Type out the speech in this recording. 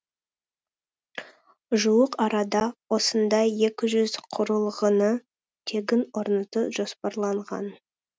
жуық арада осындай екі жүз құрылғыны тегін орнату жоспарланған